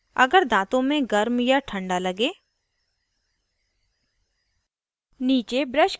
* अगर दाँत असमान मिले हुए या अस्तव्यस्त हों